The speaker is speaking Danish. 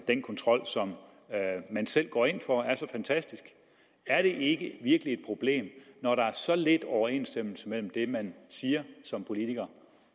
den kontrol som man selv går ind for er så fantastisk er det ikke virkelig et problem når der er så lidt overensstemmelse mellem det man siger som politiker